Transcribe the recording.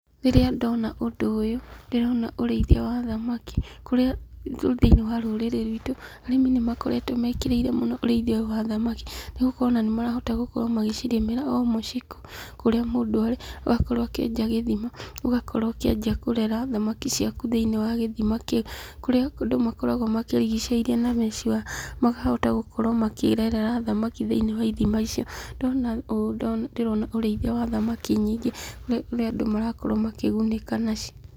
Rĩrĩa ndona ũndũ ũyũ, ndĩrona ũĩiithia wa thamaki kũrĩa thĩiniĩ wa rũrĩrĩ rwitũ ,arĩmi nĩmakoretwo mekĩrĩire mũno ũrĩithia ũyũ wa thamaki, nĩgũkorwo ona nĩ marahota gũcirĩmĩra o mũciĩ, kũrĩa mũndũ arĩ agakorwo akĩenja gĩthima, ũgakorwo ũkĩanjia kũrera thamaki ciaku thĩiniĩ wa gĩthima kĩu, kũrĩa andũ makoragwo makĩgicĩirie na mesh wire magakorwo makĩhota makĩrerera thamaki thĩiniĩ wa ithima icio, ndona ũũ ndĩrona ũrĩithia wa thamaki nyingĩ kũrĩa andũ makarakorwo makĩgunĩka nacio.